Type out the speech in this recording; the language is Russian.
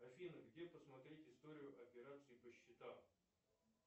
афина где посмотреть историю операций по счетам